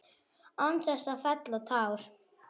Án þess að fella tár.